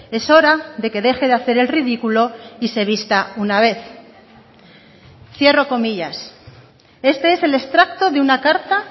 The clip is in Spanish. es hora de que deje de hacer el ridículo y se vista una vez cierro comillas este es el extracto de una carta